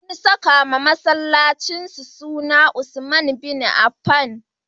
Sun sakawa masallacinsu suna Usman Bin Affan.